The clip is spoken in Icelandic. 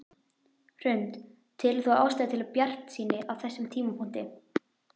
Hrund: Telur þú ástæðu til bjartsýni á þessum tímapunkti?